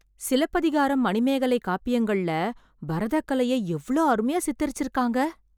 சிலப்பதிகாரம், மணிமேகலை காப்பியங்கள்ள பரதக்கலையை எவ்ளோ அருமையா சித்தரிச்சிருக்காங்க...